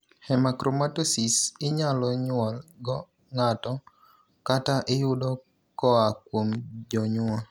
Hemochromatosis inyalo nyuol go ng'ato kata iyudo koa kuom jonyuol.